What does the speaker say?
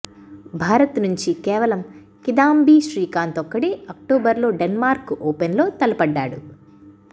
భారత్ నుంచి కేవలం కిదాంబి శ్రీకాంత్ ఒక్కడే అక్టోబర్లో డెన్మార్క్ ఓపెన్లో తలపడ్డాడు